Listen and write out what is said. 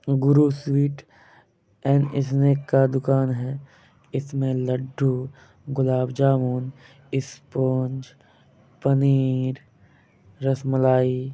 Guru sweet and snack का दुकान है। इसमे लड्डू गुलाबजामुन ईसपोनज पनीर रसमलाई--